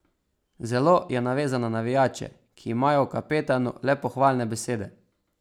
Zelo je navezan na navijače, ki imajo o kapetanu le pohvalne besede.